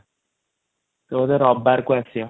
ସେ ବୋଧେ ରବିବାର କୁ ଆସିବ |